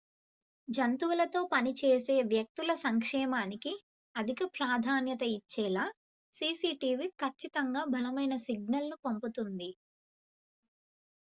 """జంతువులతో పని చేసే వ్యక్తుల సంక్షేమానికి అధిక ప్రాధాన్యత ఇచ్చేలా సిసి టీవి ఖచ్చితంగా బలమైన సిగ్నల్‌ను పంపుతుంది.""